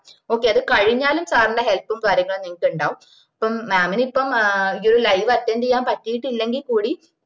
okay അത് കയിഞ്ഞാലും sir ന്റെ help ഉം കാര്യങ്ങളും നിങ്ങക്കുണ്ടാവും ഇപ്പം mam ന് ഇപ്പൊ ഏ ഈ ഒര് live attend ചെയ്യാന് പറ്റിയിട്ടില്ലെങ്കിൽ കൂടി